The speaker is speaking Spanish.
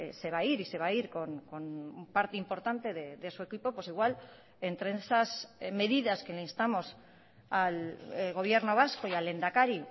se va a ir y se va a ir con un parte importante de su equipo pues igual entre esas medidas que le instamos al gobierno vasco y al lehendakari